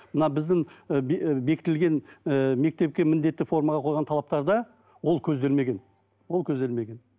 мына біздің ы ы бекітілген ііі мектепке міндетті формаға қойған талаптарда ол көзделмеген ол көзделмеген